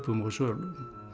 og sölum